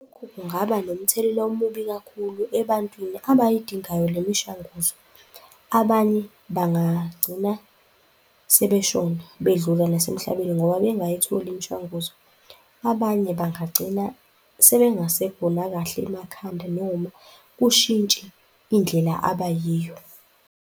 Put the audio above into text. Lokhu kungaba nomthelela omubi kakhulu ebantwini abayidingayo le mishanguzo. Abanye bangagcina sebeshona, bedlula nasemhlambeni ngoba bengayitholi imishwanguzo, abanye bangagcina sebengasekho nakahle emakhanda. Noma kushintshe indlela abayiyo.